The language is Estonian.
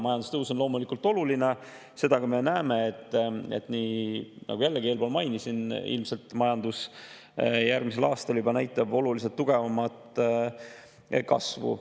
Majandustõus on loomulikult oluline ja seda me ka näeme, et – nagu jällegi eelpool mainisin – ilmselt majandus järgmisel aastal juba näitab oluliselt tugevamat kasvu.